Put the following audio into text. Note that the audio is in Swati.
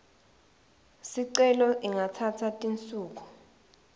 sicelo ingatsatsa tinsuku